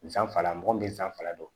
Sanfara mɔgɔ min bɛ san fila don